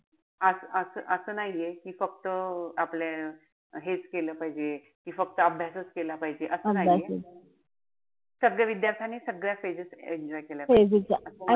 असं-असं-असं नाहीये की फक्त आपलं हेच केलं पाहिजे कि फक्त अभ्यासाचं केला पाहिजे. असं नाहीये. सगळ्या विद्यार्थ्याने सगळ्या phases enjoy केल्या पाहिजे.